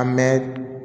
A mɛ